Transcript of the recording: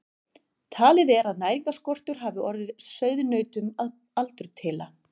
Talið er að næringarskortur hafi orðið sauðnautunum að aldurtila.